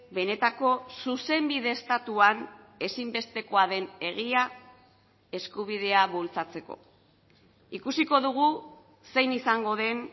benetako zuzenbide estatuan ezinbestekoa den egia eskubidea bultzatzeko ikusiko dugu zein izango den